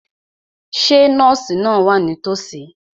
Ṣé nọ́ọ̀sì náà wà nítòsí?